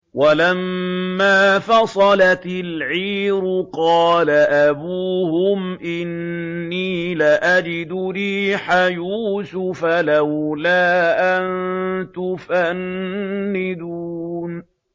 وَلَمَّا فَصَلَتِ الْعِيرُ قَالَ أَبُوهُمْ إِنِّي لَأَجِدُ رِيحَ يُوسُفَ ۖ لَوْلَا أَن تُفَنِّدُونِ